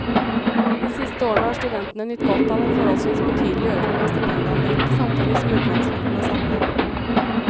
De siste årene har studentene nytt godt av en forholdsvis betydelig økning av stipendandelen, samtidig som utlånsrenten er satt ned.